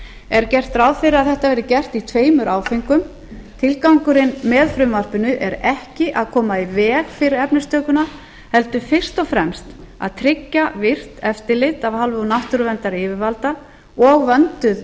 er gert ráð fyrir að þetta verði gert í tveimur áföngum tilgangurinn með frumvarpinu er ekki að koma í veg fyrir efnistökuna heldur fyrst og fremst að tryggja virkt eftirlit af hálfu náttúruverndaryfirvalda og vönduð